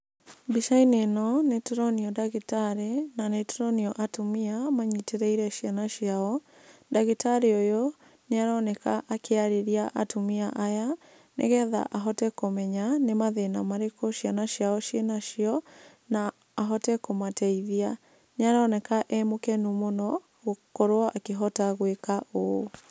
Mbica-inĩ ĩno nĩtũronio ndagĩtarĩ, na nĩtũronio atumia manyitĩrĩire ciana ciao. Ndagĩtarĩ ũyũ, nĩaroneka akĩarĩria atumia aya, nĩgetha ahote kũmenya nĩ mathĩna marĩkũ ciana ciao cĩĩ nacio, na ahote kũmateithia. Nĩaroneka e mũkenu mũno, gũkorwo akĩhota gwĩka ũũ.